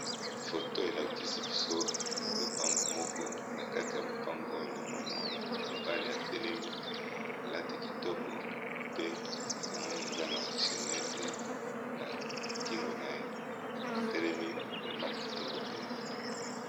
Photo elakisi biso lopango moko na kati ya lupango oyo na moni mwana mobali atelemi lati kitoko pe na moni aza na chenete na kingo na ye atelemi vrema kitoko mpenza